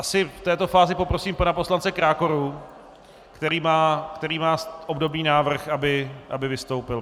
Asi v této fázi poprosím pana poslance Krákoru, který má obdobný návrh, aby vystoupil.